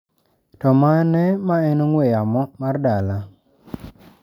To mane ma en namba ong'ue yamo mar dala?